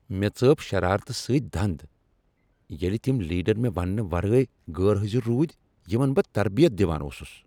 مےٚ ژٲپ شرارتہٕ سۭتۍ دند ییٚلہ تم لیڈر مےٚ ونٛنہٕ ورٲے غیر حاضر روٗدۍ یمن بہٕ تربیت دوان اوسس۔